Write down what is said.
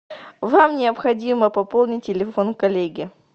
вам необходимо пополнить телефон коллеги